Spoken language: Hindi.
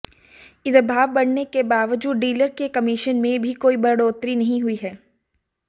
इधर भाव बढ़ने के बावजूद डीलर के कमीशन में भी कोई बढ़ोतरी नहीं हुई है